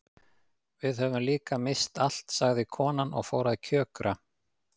Við höfum líka misst allt sagði konan og fór að kjökra.